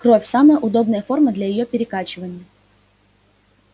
кровь самая удобная форма для её перекачивания